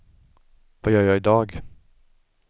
vad gör jag idag